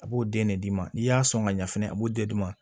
A b'o den de d'i ma n'i y'a sɔn ka ɲɛ fɛnɛ a b'o de d'i ma